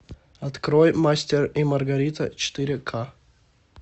открой мастер и маргарита четыре ка